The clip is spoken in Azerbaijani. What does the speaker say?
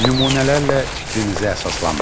Nümunələrlə fikrinizi əsaslandırın.